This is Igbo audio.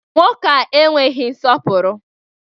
Nwoke a enweghị nsọpụrụ!